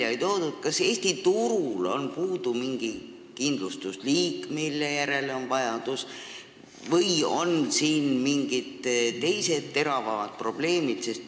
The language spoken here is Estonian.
Kas teie hinnangul on Eesti turul puudu mingi kindlustusliik, mille järele on vajadus, või on siin mingid teised teravamad probleemid?